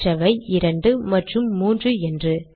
மற்றவை இரண்டு மற்றும் மூன்று என்று